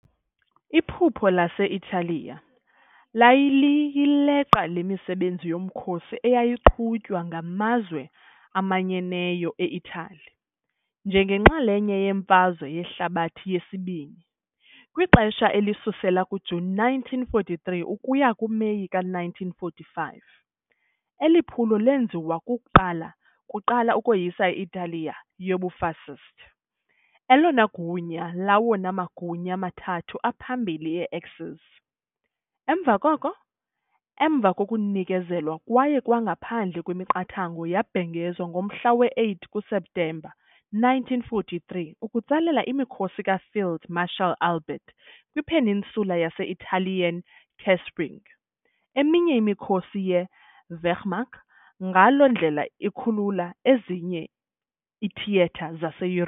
Iphupho lase-Italiya laliyiqela lemisebenzi yomkhosi eyayiqhutywa ngaMazwe Amanyeneyo eItali njengenxalenye yeMfazwe Yehlabathi yesiBini, kwixesha elisusela kuJuni 1943 ukuya kuMeyi ka -1945, Eli phulo lenziwa kuqala ukoyisa i-Italiya yobuFascist, elona gunya lawona magunya mathathu aphambili ye-Axis, emva koko, emva kokunikezelwa kwayo ngaphandle kwemiqathango yabhengezwa ngomhla wesi-8 kuSeptemba 1943, ukutsalela imikhosi kaField Marshal Albert kwi-peninsula yase-Italian Kesselring eminye imikhosi ye- Wehrmacht, ngaloo ndlela ikhulula ezinye iithiyetha zaseYuro.